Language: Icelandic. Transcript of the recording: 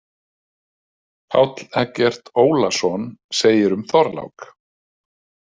Páll Eggert Ólason segir um Þorlák.